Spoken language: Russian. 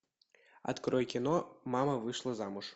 открой кино мама вышла замуж